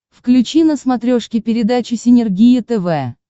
включи на смотрешке передачу синергия тв